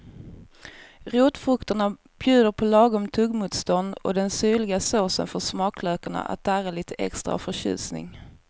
Rotfrukterna bjuder på lagom tuggmotstånd och den syrliga såsen får smaklökarna att darra lite extra av förtjusning.